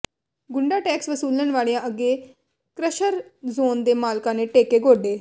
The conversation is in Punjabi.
ਗੁੰਡਾ ਟੈਕਸ ਵਸੂਲਣ ਵਾਲਿਆਂ ਅੱਗੇ ਕ੍ੱਸ਼ਰ ਜ਼ੋਨ ਦੇ ਮਾਲਕਾਂ ਨੇ ਟੇਕੇ ਗੋਡੇ